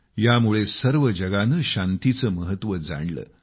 यामुळे सर्व जगाने शांतीचं महत्व जाणलं